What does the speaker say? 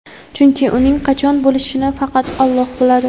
chunki uning qachon bo‘lishini faqat Alloh biladi.